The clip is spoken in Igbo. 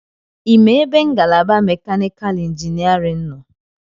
Ịma ebe ngalaba mekanikal injiniarin nọ?